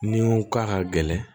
Ni ko k'a ka gɛlɛn